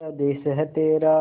स्वदेस है तेरा